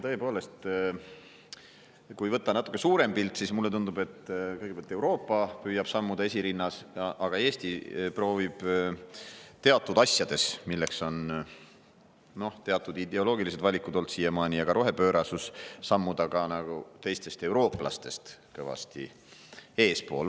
Tõepoolest, kui vaadata natukene suuremat pilti, siis mulle tundub, et kõigepealt püüab Euroopa sammuda esirinnas, aga Eesti proovib teatud asjades, milleks on, noh, siiamaani olnud teatud ideoloogilised valikud ja ka rohepöörasus, sammuda ka teistest eurooplastest kõvasti eespool.